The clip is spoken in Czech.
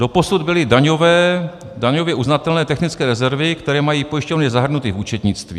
Doposud byly daňově uznatelné technické rezervy, které mají pojišťovny zahrnuty v účetnictví.